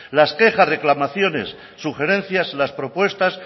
las quejas reclamaciones sugerencias las propuestas